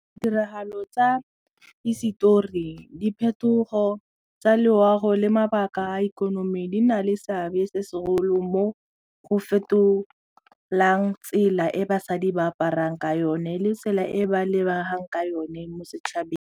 Ditiragalo tsa hisetori diphetogo tsa loago le mabaka a ikonomi di na le seabe se segolo mo go fetolang tsela e basadi ba aparang ka yone le tsela e ba lebegang ka yone mo setšhabeng.